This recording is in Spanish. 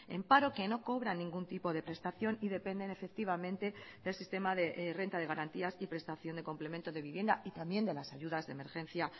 en paro que no cobra ningún tipo de prestación y dependen efectivamente del sistema de renta de garantías y prestación de complemento de vivienda y también de las ayudas de emergencia